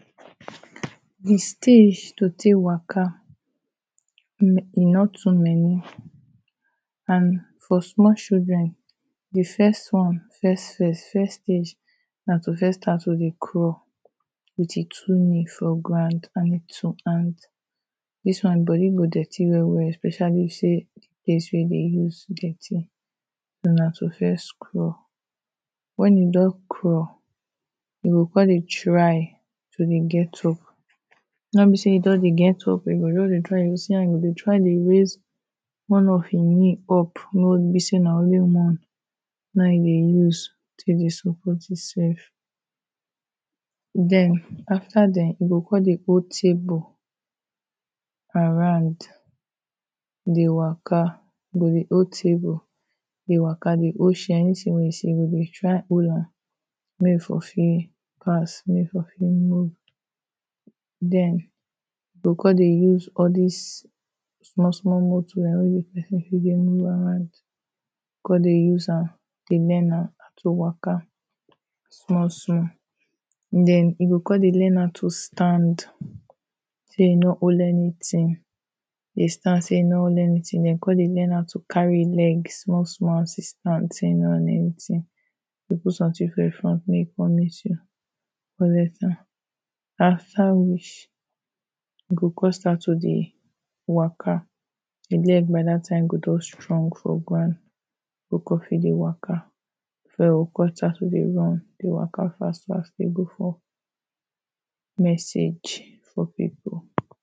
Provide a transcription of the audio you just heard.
The stage to tek waka e no too many And for small children the first one, first first, first stage, na to first start to dey crawl With im two knee for ground and im two hand dis one body go dirty well well, especially if say de place wey dey use dirty na to first crawl wen you don crawl you go come dey try to dey get up. No be say you don dey get up oh. You go just dey try you go try dey raise one of ‘im knee up make wey e be sey na only one na ‘im dey use take dey support ‘imself. den afta den, ‘im go come dey hold table around dey waka. Im go dey hold table dey waka dey hold chair. Anything wey ‘im see, e go dey try hol'am Mek e for fit pass. Mek e for fit move. den im go come dey use all dis small small motor wey person fit dey move around Come dey use am dey learn how to waka small small den he go come dey learn how to stand till e no hold anything. Dey stand till e no hold anything. den come dey learn how to carry ‘im leg small small as e stand til e no need anything You go put something for im front mek e come meet you for where you stand Afta which e go come start to dey waka Im leg by that time go don strong for ground make e fit dey waka E go start to dey run. Go waka fast fast. Dey go for message for people